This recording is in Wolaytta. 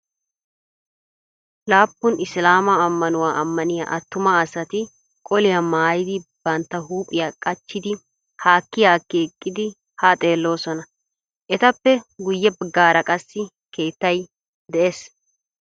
Laapun isilaamaa ammanuwa ammaniya attuma asati qoliya mayidi bantta huuphiya qachchidi haakki haakki eqqidi haa xeelloosona. Etappe guyye baggaara qassi keettay de'ees.